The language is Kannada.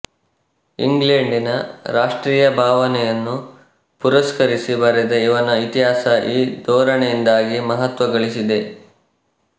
ಇಂಗ್ಲೆಂಡಿನ ರಾಷ್ಟ್ರೀಯ ಭಾವನೆಯನ್ನು ಪುರಸ್ಕರಿಸಿ ಬರೆದ ಇವನ ಇತಿಹಾಸ ಈ ಧೋರಣೆಯಿಂದಾಗಿ ಮಹತ್ವ ಗಳಿಸಿದೆ